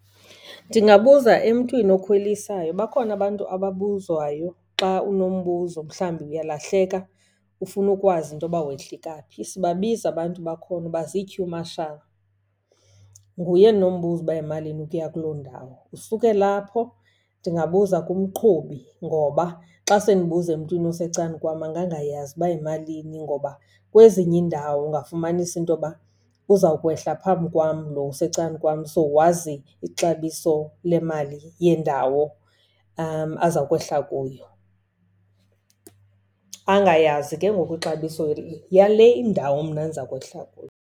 Ndingabuza emntwini okhwelisayo. Bakhona abantu ababuzwayo xa unombuzo, mhlawumbi uyalahleka ufuna ukwazi into yoba wehlika phi. Sibabiza abantu bakhona uba zii-queue marshall. Nguye endinombuza uba yimalini ukuya kuloo ndawo. Usukela apho ndingabuza kumqhubi, ngoba xa sendibuza emntwini osecan'kwam angangayazi uba yimalini. Ngoba kwezinye iindawo ungafumanisa into yoba uzawukwehla phambi kwam lo usecan'kwam, so wazi ixabiso lemali yendawo azawukwehla kuyo, angayazi ke ngoku ixabiso yale indawo mna ndiza kwehla kuyo.